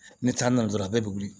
Ni taari nana dɔrɔn a bɛɛ bɛ wuli